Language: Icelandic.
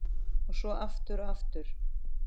Og svo aftur og aftur.